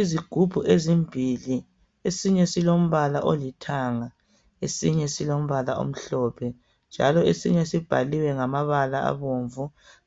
Izigubhu ezimbili esinye silombala olithanga esinye silombala omhlophe njalo esinye sibhaliwe ngamabala abomvu